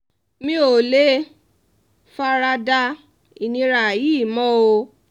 mi ò lè fara da ìnira yìí mọ́ o